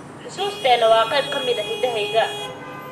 Xusuusteena waa qayb ka mid ah hidahayaga.